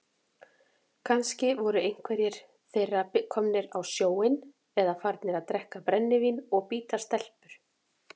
Kannski voru einhverjir þeirra komnir á sjóinn eða farnir að drekka brennivín og bíta stelpur.